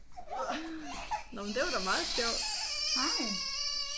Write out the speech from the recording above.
Nåh men det var da meget sjovt